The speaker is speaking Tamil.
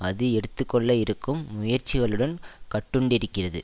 அது எடுத்து கொள்ள இருக்கும் முயற்சிகளுடன் கட்டுண்டிருக்கிறது